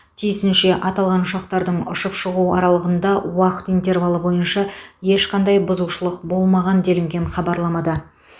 тиісінше аталған ұшақтардың ұшып шығу аралығында уақыт интервалы бойынша ешқандай бұзушылық болмаған делінген хабарламада